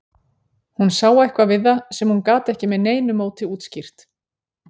Hún sá eitthvað við það sem hún gat ekki með neinu móti útskýrt.